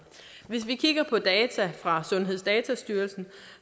hvis vi kigger på data fra sundhedsdatastyrelsen